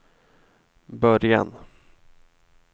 början